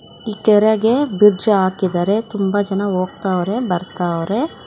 ಈ ಕೆರೆಗೆ ಬ್ರಿಡ್ಜ್ ಹಾಕಿದಾರೆ ತುಂಬಾ ಜನ ಹೋಗ್ತಾವರೆ ಬರ್ತಾವ್ರೆ.